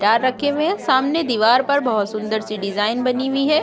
Guitar रखे हुए हैं सामने दीवार पर बहुत सुन्दर-सी डिजाईन बन हुई हैं।